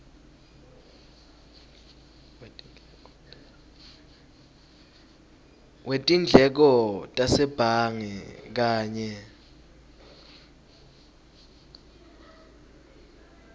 wetindleko tasebhange kanye